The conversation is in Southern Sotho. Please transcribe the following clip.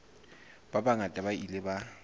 ba bangata ba ile ba